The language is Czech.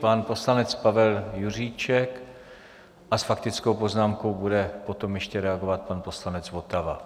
Pan poslanec Pavel Juříček a s faktickou poznámkou bude potom ještě reagovat pan poslanec Votava.